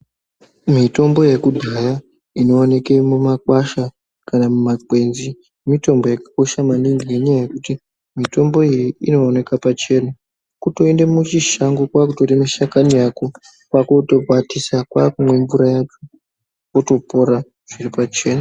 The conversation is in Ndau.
Mitombo yakudhaya inooneke mumakwasha kana mumakwenzi mitombo yakakosha maningi. Ngenyaya yekuti mitombo iyi inooneka pachena kutoende muchishango kwakutore mishakani yako kwakotokwatisa kwakumwe mvura yacho votopora zviripachena.